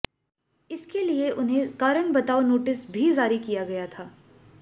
इसके लिए उन्हें कारण बताओ नोटिस भी जारी किया गया था